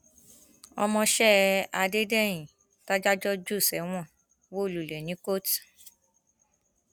ọmọọṣẹ adédèyìn tàdájọ jù sẹwọn wó lulẹ ní kóòtù